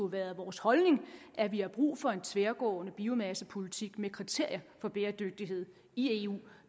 været vores holdning at vi har brug for en tværgående biomassepolitik med kriterier for bæredygtighed i eu